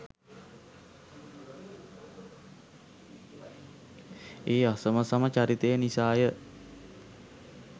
ඒ අසමසම චරිතය නිසාය.